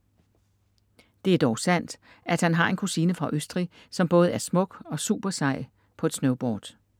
Det er dog sandt at han har en kusine fra Østrig, som både er smuk og supersej på et snowboard.